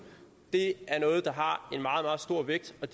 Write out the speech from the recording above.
er noget der har en meget meget stor vægt og